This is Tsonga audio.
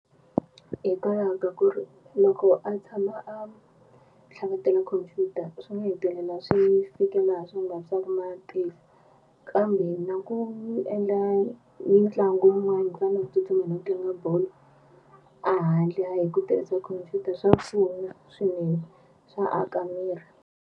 Hikwalaho ka ku ri loko a tshama a tlhavetela khompyuta swi nga hetelela swi fike laha swi nga swa ku matihlo kambe na ku endla mitlangu yin'wana ku fana na ku tsutsuma no tlanga bolo a handle ku tirhisa khompyuta swa pfuna swinene swa aka miri.